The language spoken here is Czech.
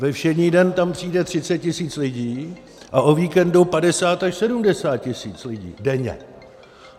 Ve všední den tam přijde 30 tisíc lidí a o víkendu 50 až 70 tisíc lidí denně.